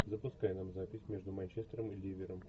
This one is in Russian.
запускай нам запись между манчестером и ливером